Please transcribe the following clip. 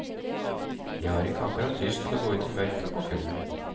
De har ikke akkurat lyst til å ut i mørket og kulden.